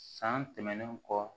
San tɛmɛnen kɔ